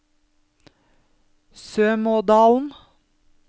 Sømådalen